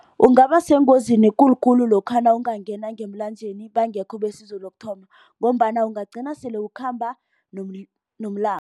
Ungaba sengozini ekulu khulu lokha nawungangena ngemlanjeni bangekho besizo lokuthoma ngombana ungagcina sele ukhamba nomlambo.